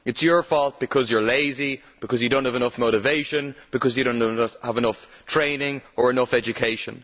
It is your fault because you are lazy, because you do not have enough motivation, because you do not have enough training or enough education.